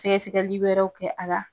Sɛgɛsɛgɛli wɛrɛw kɛ a la.